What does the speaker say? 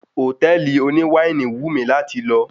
Hòtẹ́ẹ̀lì oní wáìnì wù mí láti lọ